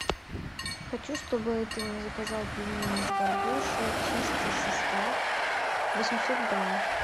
хочу чтобы ты мне заказал пельмени с горбушей чистый состав восемьсот грамм